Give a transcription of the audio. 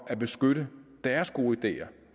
at beskytte deres gode ideer